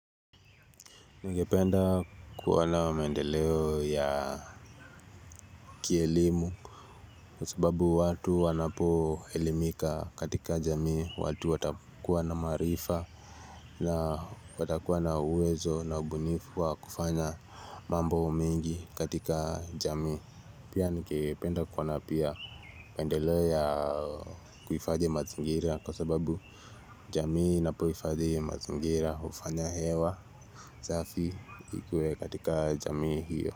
Ningependa kuona maendeleo ya kielimu. Kwa sababu watu wanapoelimika katika jamii watu watakuwa na maarifa na watakuwa na uwezo na ubunifu wa kufanya mambo mengi katika jamii. Pia nikependa kuona pia maendeleo ya kuifadhi mazingira. Kwa sababu jamii inapoifadhi mazingira ufanya hewa safi ikuwe katika jamii hio.